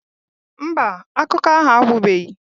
Mba, akụkọ ahụ agwụbeghị